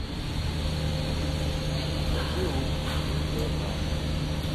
закажи лук один килограмм